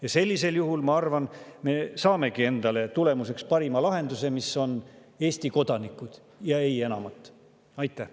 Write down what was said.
Ja sellisel juhul, ma arvan, me saamegi tulemuseks parima lahenduse, mis on Eesti kodanikele ja ei enamat.